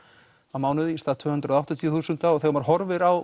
á mánuði í stað tvö hundruð og áttatíu þúsund og þegar maður horfir á